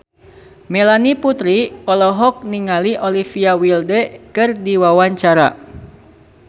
Melanie Putri olohok ningali Olivia Wilde keur diwawancara